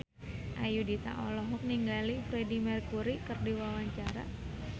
Ayudhita olohok ningali Freedie Mercury keur diwawancara